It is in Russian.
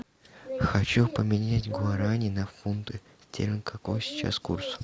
хочу поменять гуарани на фунты стерлингов какой сейчас курс